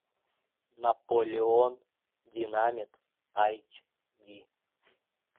наполеон динамит айч ди